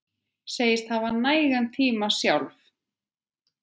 Segist hafa nægan tíma sjálf.